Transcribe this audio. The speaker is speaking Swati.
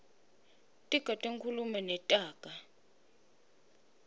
tiga tenkhulumo netaga